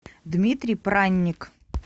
дмитрий пранник